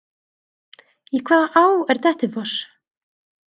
Í hvaða á er Dettifoss?